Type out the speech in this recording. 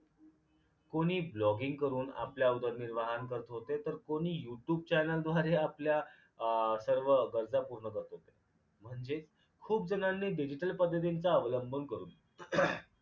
कुणी blogging करून आपल्या उदरनिर्वाहन करत होते तर कुणी youtube channel द्वारे आपल्या सर्व गरजा पूर्ण करत होते म्हणजेच खूप जणांनी digital पद्धतीचा अवलंब करून